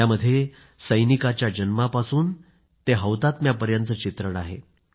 यामध्ये एका सैनिकाच्या जन्मापासून ते हौतात्म्यापर्यंतचं चित्रण आहे